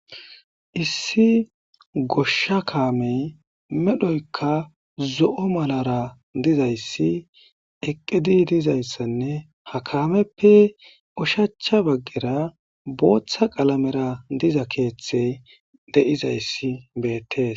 issi gosha kaamey medhoyka zo7o malara dizayssi eqqidi dizayssanne ha kaameppe ushacha baggera booththa qalamera diza keeththey de7izayssi beettes